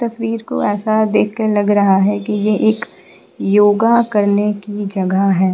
तस्वीर को ऐसा देखकर लग रहा हैकि ये एक योगा करने की जगह है।